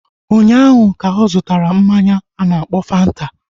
Ụnyaahụ ka ọ zụtara mmanya a na-akpọ Fanta